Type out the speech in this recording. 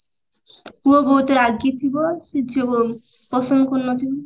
ପୁଅ ବହୁତ ରାଗି ଥିବ ସେ ଝିଅକୁ ପସନ୍ଦ କରୁନଥିବ